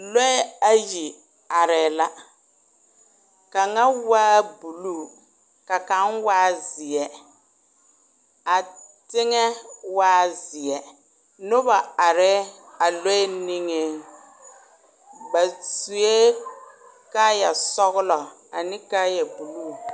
Lɔɛ ayi are la, kaŋa waa buluu. kaŋa waa zeɛ a teŋɛ waa zeɛ noba are a lɔɛ niŋɛ ba sue kaayɛ sɔglɔ ane kaayɛ buluu .